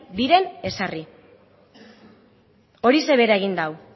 diren ezarri horixe bera egin du